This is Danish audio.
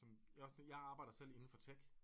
Også det jeg arbejder selv inde for tech